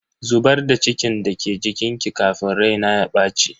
Zubar da cikin da ke jikinki kafin rai na ya baci.